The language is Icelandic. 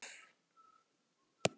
Það er það sem þarf.